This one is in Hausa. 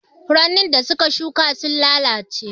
Furannin da muka shuƙa sun lalace.